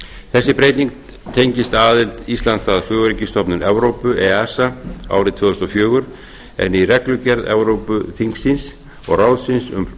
þessi breyting tengist aðild íslands að flugöryggisstofnun evrópu esa árið tvö þúsund og fjögur en í reglugerð evrópuþingsins og ráðsins um